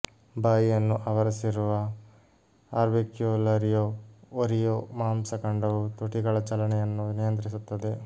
ಬಾಯಿಯನ್ನು ಆವರಿಸಿರುವ orbicularis oris ಮಾಂಸ ಖಂಡವು ತುಟಿಗಳ ಚಲನೆಯನ್ನು ನಿಯಂತ್ರಿಸುತ್ತದೆ